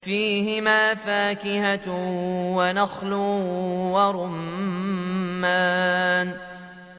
فِيهِمَا فَاكِهَةٌ وَنَخْلٌ وَرُمَّانٌ